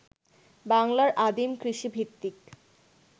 বাংলার আদিম কৃষিভিত্তিক